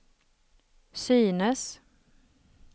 synes